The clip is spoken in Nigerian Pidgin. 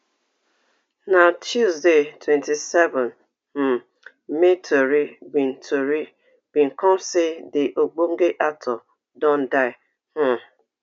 na tuesday twenty-seven um may tori bin tori bin come say di ogbonge actor don die um